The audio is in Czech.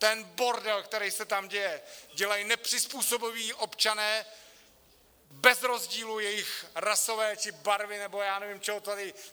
Ten bordel, kterej se tam děje, dělají nepřizpůsobiví občané bez rozdílu jejich rasové či barvy nebo já nevím, čeho tady...